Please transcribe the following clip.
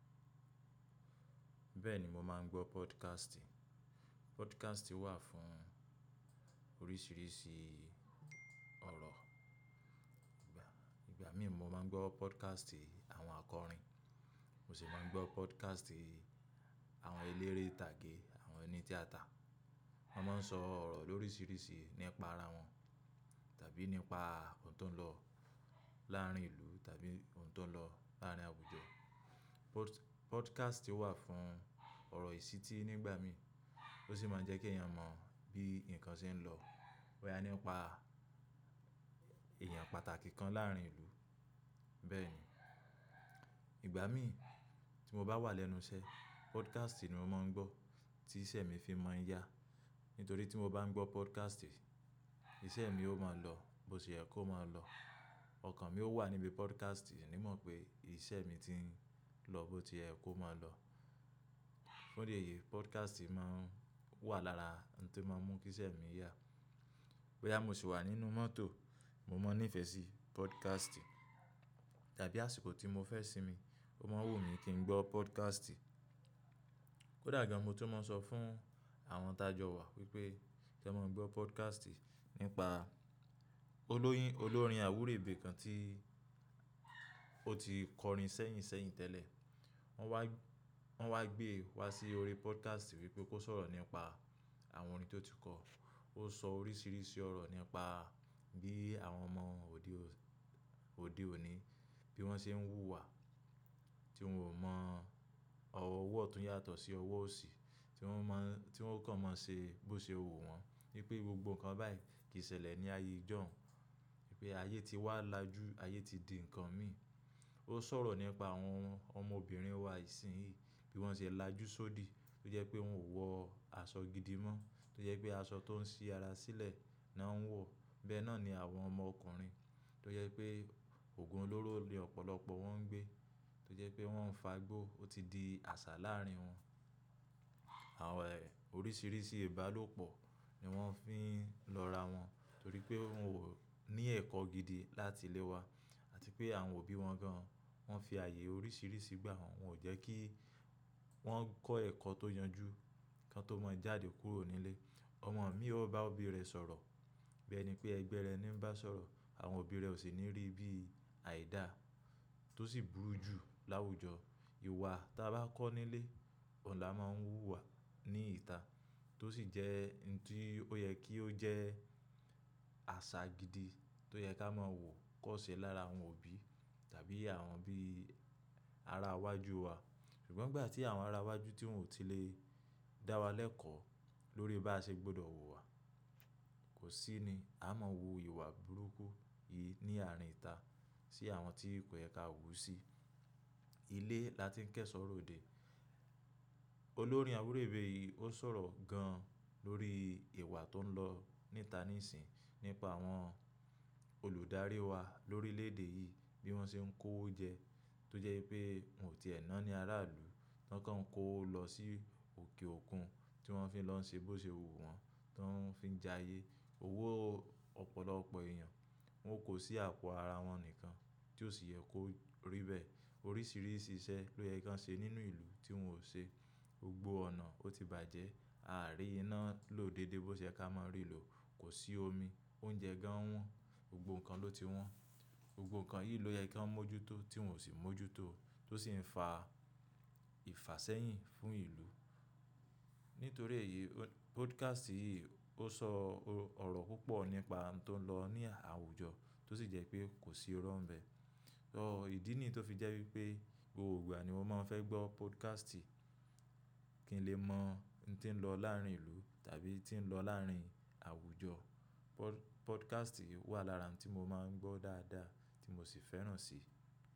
Bẹ́ẹ̀ ni mo máa ń gbọ́ podcast. Podcast wà fún oríṣiríṣi ọ̀rọ̀. Ìgbà mí mo máa ń gbọ́ podcast àwọn akọrin, mo sì máa ń gbọ́ podcast àwọn eléré ìtàgé, àwọn oní tíátà. Wọ́n máa ń sọ ọ̀rọ̀ lóríṣiríṣi nípa ara wọn, tàbí nípa ohun tó ń lọ láàárín ìlú tàbí ohun tó ń lọ láàárín àwùjọ. Pod-podcast wà fún ọ̀rọ̀ ìṣítí nígbà mí, ó sì máa ń jẹ́ kí èèyàn mọ̀ bí nǹkan ṣe ń lọ. Boya nípa èèyàn pàtàkì kan láàárín ìlú. Bẹ́ẹ̀ ni, ìgbà mí tí mo bá wà lẹ́nu iṣẹ́, podcast ni mo máa ń gbọ́ tí iṣẹ́ mi fi máa ń yá. Nítorí tí mo bá ń gbọ́ podcast, iṣẹ́ mi ó máa lọ bó ti yẹ kó máa lọ. Ọkàn mi ó wà níbi podcast, mì ni mọ̀ pé iṣẹ́ mi ti ń lọ bó ti yẹ kó máa lọ. Nítorí èyí, podcast máa ń wà lára ohun tó máa ń mú kí iṣẹ́ mi yá. Wẹ́ẹ́ya mo sì wà nínú mọ́tò, mo máa ń nífẹ̀ẹ́ sí podcast. Tàbí àsìkò tí mo fẹ́ sinmi, mo máa ń wù mí kí n gbọ́ podcast. Kódà gan-an mo tó mọ̀ ọ fún àwọn tajọ wa wípé kí won máa ń gbọ́ podcast nípa olóyín-olórin àwúrèbe kan tí ó ti kọrin sẹ́yìn sẹ́yìn tẹ́lẹ̀. Wọ́n wá, wọ́n wá gbé wá sí orí podcast wípé kó sọ̀rọ̀ nípa àwọn orin tí ó ti kọ. Ó sọ oríṣiríṣi ọ̀rọ̀ nípa bí àwọn ọmọ òde ò-òde òní bí wọ́n ṣe ń wù wà, tí wọn ò mọ ọ̀wọ̀ ọwọ́ ọ̀tún yàtọ̀ sí ọwọ́ òsì, tí wọ́n máa ń-- tí wọ́n kàn máa ń ṣe bó ṣe wù wọ́n. Wípé gbogbo nǹkan báyìí kì í ṣẹlẹ̀ ní ayé ìjọ̀hun. Wípé ayé ti wà lájú, ayé ti di nǹkan mí. Ó sọ̀rọ̀ nípa àwọn ọmọbìnrin wa ìsínyíì bí wọ́n ṣe ń lájúṣòdì tó jẹ́ pé wọn ò wọ aṣọ gidi mọ́. Tó jẹ́ pé aṣọ tó ń ṣí ara sílẹ̀ ni wọ́n ń wọ̀. Bẹ́ẹ́ náà ni àwọn ọmọkùnrin tó jẹ́ pé òògùn olóró ni ọ̀pọ̀lọpọ̀ wọ́n ń gbé, tó jẹ́ pé wọ́n ń fagbó, ó ti di àṣà láàárín wọn. Àwọn è-oríṣiríṣi ìbálòpọ̀ ni wọ́n fi ń lọ ra wọn, torí pé wọn ò ní ẹ̀kọ́ gidi láti lé wa àti pé àwọn òbí wọn gan-an wọ́n fi ààyè oríṣiríṣi gbà wọn. Wọn ò jẹ́ kí wọ́n kọ́ ẹ̀kọ́ tó yanjú, kí wọn tó mọ ìjáde kúrò nílé. Ọmọ mi ó bá òbí rẹ sọ̀rọ̀, bẹ́ẹ́ ni pé ẹgbẹ́ rẹ ni ń bá sọ̀rọ̀. Àwọn òbí rẹ ò sì ní rí bí àìda tó sì burú jù láwùjọ. Ìwà tí a bá kọ́ nílé ọ̀la máa ń wù wà ní ìta, tó sì jẹ́ nǹkan tí ó yẹ kí ó jẹ́ àṣà gidi tó yẹ ká máa wù kó ṣe lára àwọn òbí tàbí àwọn bí ara iwájú wa. Ṣùgbọ́n ìgbà tí àwọn ara iwájú tí wọn ò tí lè dá wa lẹ́kọ̀ọ́ lórí bá ṣe gbọ́dọ̀ wù wà, kò sí ni. A máa wò ìwà burúkú yìí ní àárín ìta sí àwọn tí kò yẹ ká wù sí. Ilé la tí ń kẹ́ṣọ̀ròde. Olórin àwúrèbe yìí ó sọ̀rọ̀ gan-an lórí ìwà tó ń lọ ní ìta níìsín nípa àwọn olùdarí wa lórí lédè yìí bí wọ́n ṣe ń kó oúnjẹ tó jẹ́ wípé wọn ò tíe náani ará ìlú. Wọ́n kàn ń kó o lọ sí òkè òkun tí wọ́n fi ń lọ ṣe bó ṣe wù wọ́n, tí wọ́n fi ń jayé owó ọ̀pọ̀lọpọ̀ èèyàn. Wọn kò sí àpò ara wọn nìkan tí ò sì yẹ kó rí bẹ́ẹ̀. Oríṣiríṣi iṣẹ́ ló yẹ kí wọn ṣe nínú ìlú tí wọn ò ṣe. Gbogbo ọ̀nà ó ti bàjẹ́. A à rí iná lò dédé bó ṣe yẹ ká máa rí lò. Kò sí omi, oúnjẹ gan wọ́n, gbogbo nǹkan ló ti wọ́n. Gbogbo nǹkan yìí ló yẹ kí wọ́n mójútó tí wọn ò sì mójútó tó sì ń fa ìfàsẹ́yìn fún ìlú. Nítorí èyí, o-podcast yìí ó sọ ọ̀rọ̀ púpọ̀ nípa ohun tó ń lọ ní àwùjọ tó sì jẹ́ pé kò sí irọ́ ń bẹ. Ọ̀, ìdí nì tó fi jẹ́ wípé gbogbo ìgbà ni mo máa ń fẹ́ gbọ́ podcast kí n lè mọ̀ n tí ń lọ láàárín ìlú tàbí tí ń lọ láàárín àwùjọ. Pod-podcast wà lára ohun tí mo máa ń gbọ́ dáadáa tí mo sì fẹ́ràn si.